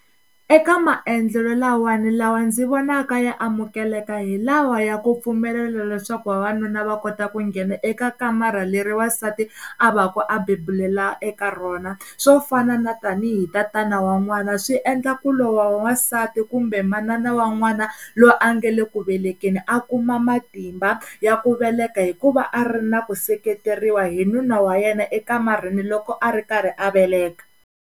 Eka maendlelo lawani, lawa ndzi vonaka ya amukeleka hi lawa ya ku pfumelela leswaku vavanuna va kota ku nghena eka kamara leri wansati a va ku a bebulela eka rona swo fana na tanihi tatani wa n'wana swi endla ku loyi wa wansati kumbe manana wa n'wana loyi a nga le ku velekeni a kuma matimba ya ku veleka hikuva a ri na ku seketeriwa hi nuna wa yena ekamareni loko a ri karhi a veleka.